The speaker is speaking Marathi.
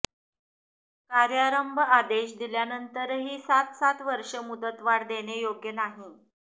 कार्यारंभ आदेश दिल्यानंतरही सात सात वर्षे मुदतवाढ देणे योग्य नाही